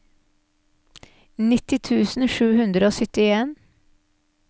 nitti tusen sju hundre og syttien